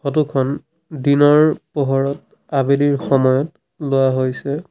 Photo খন দিনৰ পোহৰত আবেলিৰ সময়ত লোৱা হৈছে।